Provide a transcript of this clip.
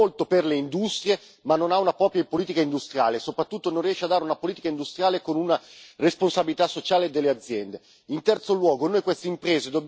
Uno noi abbiamo un'Europa che fa molto per le industrie, ma non ha una propria politica industriale, e soprattutto non riesce a dare una politica industriale con una responsabilità sociale delle aziende.